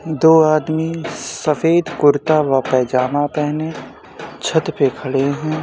दो आदमी सफ़ेद कुर्ता व पैजामा पहने छत पे खड़े हैं ।